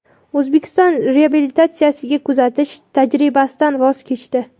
O‘zbekiston reabilitatsiyaga kuzatish tajribasidan voz kechdi .